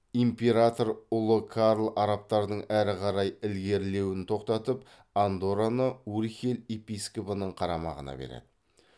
император ұлы карл арабтардың әрі қарай ілгерілеуін тоқтатып андорраны урхель епископының қарамағына береді